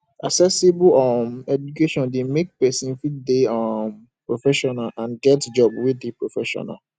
accessible um education de make persin fit de um proffessional and get job wey de professional